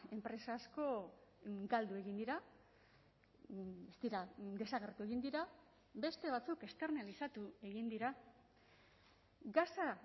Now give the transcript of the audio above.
enpresa asko galdu egin dira ez dira desagertu egin dira beste batzuk esternalizatu egin dira gasa